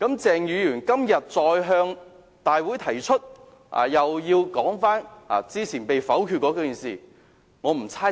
鄭議員今天再次向立法會大會提出議案，要求討論早前被否決的議題。